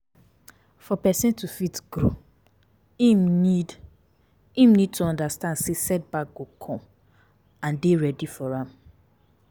For perosn to fit grow, im need im need to understand sey set back go come and dey ready for am